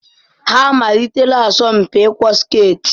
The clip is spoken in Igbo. Ha amalitela asọmpi ịkwọ sketị?